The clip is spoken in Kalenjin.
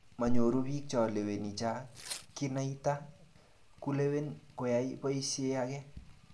Manyoru bichai leweni cha kinaita kulewen koyai boisie age.